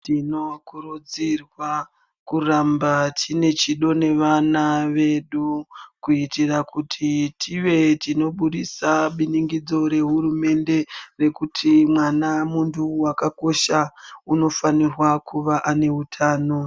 Tinokurudzirwa kuramba tine chido nevana vedu kuitira kuti tive tinobudisa biningidzo rehurumende rekuti mwana munthu wakakosha unofanirwa kuve aneutano.